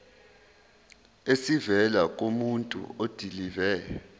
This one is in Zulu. esivela kumuntu odilive